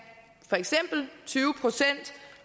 for eksempel tyve procent